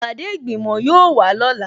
Ìpàdé ìgbìmò yóò wà lọ́la